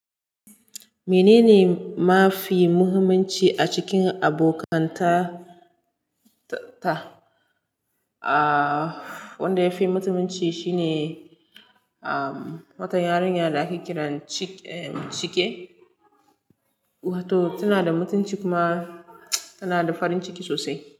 Menene mafi muhimmanci a cikin abokanta ta? Aaa, wanda yafi muhimmanci shine, am, wata yarinya da ake kiran Chike, wato tana da mutunci kuma tana da farin ciki sosai.